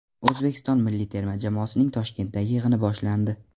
O‘zbekiston milliy terma jamoasining Toshkentdagi yig‘ini boshlandi.